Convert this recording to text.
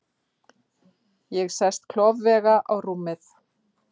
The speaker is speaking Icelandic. Ég sest klofvega á rúmið.